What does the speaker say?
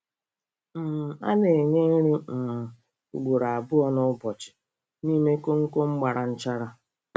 um A na-enye nri um ugboro abụọ n'ụbọchị n'ime koonkom gbara nchara.